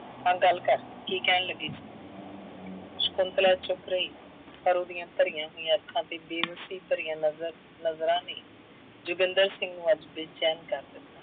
ਹਾਂ ਗੱਲ ਕਰ, ਕੀ ਕਹਿਣ ਲੱਗੀ ਸੀ, ਸ਼ੰਕੁਤਲਾ ਚੁੱਪ ਰਹੀ, ਪਰ ਉਹਦੀਆਂ ਭਰੀਆਂ ਹੋਈਆਂ ਅੱਖਾਂ ਤੇ ਬੇਵੱਸੀ ਭਰਿਆ ਨਜ਼ਰ ਨਜ਼ਰਾਂ ਨੇ ਜੋਗਿੰਦਰ ਸਿੰਘ ਨੂੰ ਅੱਜ ਬੇਚੈਨ ਕਰ ਦਿੱਤਾ।